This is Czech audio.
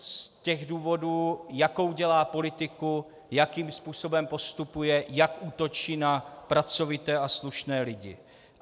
Z těch důvodů, jakou dělá politiku, jakým způsobem postupuje, jak útočí na pracovité a slušné lidi.